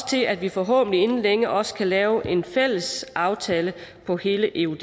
til at vi forhåbentlig inden længe også kan lave en fælles aftale på hele eud